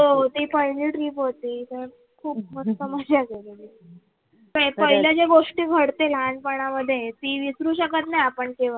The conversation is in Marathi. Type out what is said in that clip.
हो, ती पहिली trip होती त खूप मस्त मजा केलेली काय पहिल्या ज्या गोष्टी घडते लहानपनामधे ती विसरू शकत नाही आपण केव्हाच.